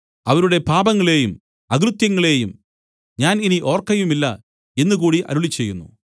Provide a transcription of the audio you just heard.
അവരുടെ പാപങ്ങളെയും അകൃത്യങ്ങളെയും ഞാൻ ഇനി ഓർക്കയുമില്ല എന്നുകൂടി അരുളിച്ചെയ്യുന്നു